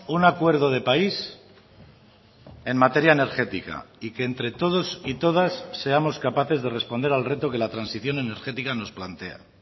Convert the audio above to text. un acuerdo de país en materia energética y que entre todos y todas seamos capaces de responder al reto que la transición energética nos plantea